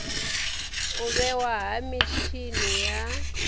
u vhewa ha mitshini ya